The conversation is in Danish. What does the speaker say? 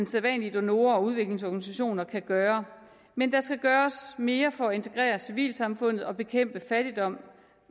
sædvanlige donorer og udviklingsorganisationer kan gøre men der skal gøres mere for at integrere civilsamfundet og bekæmpe fattigdom